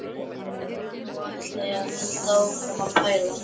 Nú ætla ég að halda áfram að pæla.